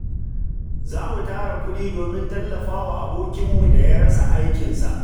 Za mu tara kuɗi domin tallafa wa abokinmu da ya rasa aikinsa.